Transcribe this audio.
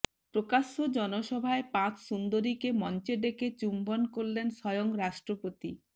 প্রকাশ্য জনসভায় পাঁচ সুন্দরীকে মঞ্চে ডেকে চুম্বন করলেন স্বয়ং রাষ্ট্রপতি